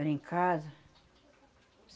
Era em casa.